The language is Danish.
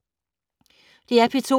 DR P2